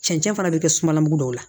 Cɛncɛn fana bɛ kɛ sumalabu dɔw la